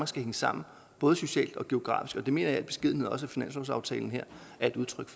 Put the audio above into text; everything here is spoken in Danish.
skal hænge sammen både socialt og geografisk og det mener jeg i al beskedenhed også at finanslovsaftalen her er et udtryk